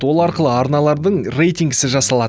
ол арқылы арналардың рейтингісі жасалады